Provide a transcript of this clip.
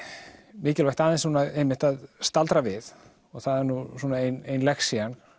mikilvægt aðeins að staldra við og það er nú ein lexían